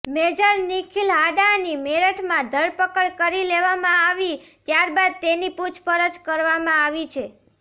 major Nikhil હાંડાની મેરઠમાં ધરપકડ કરી લેવામાં આવી ત્યારબાદ તેની પૂછપરછ કરવામાં આવી